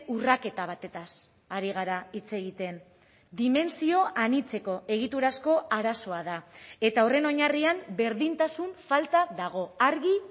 urraketa batez ari gara hitz egiten dimentsio anitzeko egiturazko arazoa da eta horren oinarrian berdintasun falta dago argi